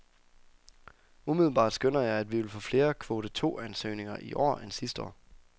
Umiddelbart skønner jeg, at vi vil få flere kvote to ansøgninger i år end sidste år.